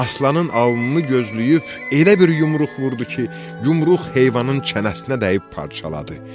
Aslanın alnını gözləyib elə bir yumruq vurdu ki, yumruq heyvanın çənəsinə dəyib parçaladı.